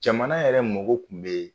Jamana yɛrɛ mogo kun bee